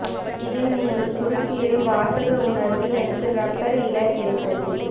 இதில் நீங்கள் குறிப்பிடும் வாசக உணர்வு எனக்கு ரப்பர் இல கிடைத்தது